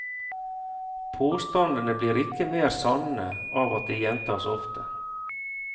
Påstandene blir ikke mer sanne av at de gjentas ofte.